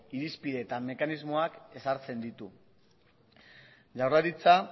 irizpide eta mekanismoak ezartzen ditu jaurlaritza